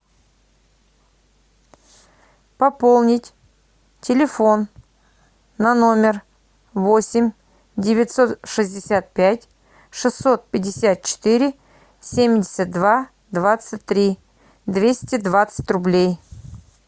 пополнить телефон на номер восемь девятьсот шестьдесят пять шестьсот пятьдесят четыре семьдесят два двадцать три двести двадцать рублей